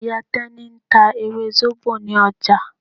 Ìyá Tẹ́ní ń ta ewé zobo ní ọjà.